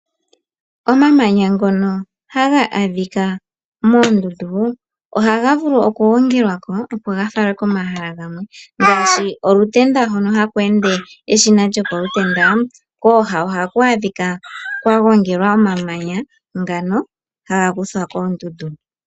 Omamanya ngono haga adhika moondundu oha ga vulu okugongelwapo opo ga falwe komahala gamwe ngaashi olutenda hono haku ende eshina lyokolutenda kooha oha ku adhika kwa gongelwa omamanya ngano haga kuthwa koondundu.